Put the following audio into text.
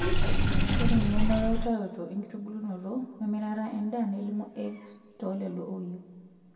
Ore engeno weutaroto enkitubulunoto wemirata endaa nelimu AIVS too lelo oyieu.